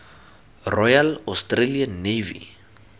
royal australian navy